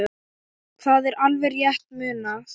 Það er alveg rétt munað.